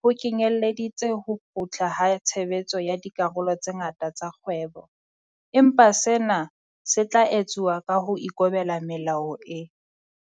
ho kenyeleditse ho kgutla ha tshebetso ya dikarolo tse ngata tsa kgwebo, empa sena se tla etsuwa ka ho ikobela melao e